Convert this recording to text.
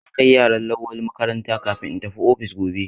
Zan kai yaran Lawali makaranta kafin in tafi ofis gobe.